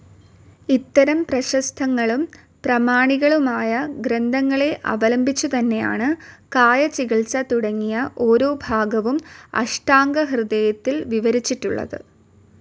ഇത്തരം പ്രശസ്തങ്ങളും പ്രാമാണികങ്ങളുമായ ഗ്രന്ഥങ്ങളെ അവലംബിച്ചുതന്നെയാണ് കായചികിത്സ തുടങ്ങിയ ഓരോ ഭാഗവും അഷ്ടാംഗഹൃദയത്തിൽ വിവരിച്ചിട്ടുള്ളത്.